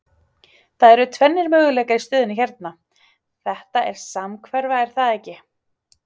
Það eru tvennir möguleikar í stöðunni hérna, þetta er samhverfa er það ekki?